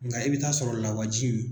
Nka i bi taa sɔrɔ lawaji in